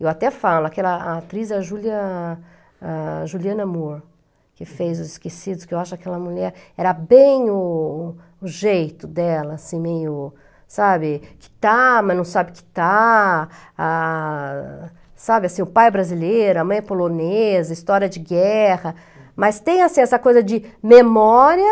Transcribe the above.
Eu até falo, aquela atriz, a Julia a Juliana Moore, que fez Os Esquecidos, que eu acho que aquela mulher era bem o o o jeito dela, assim, meio, sabe, que está, mas não sabe que está, ah, sabe, assim, o pai é brasileiro, a mãe é polonesa, história de guerra, mas tem, assim, essa coisa de memória,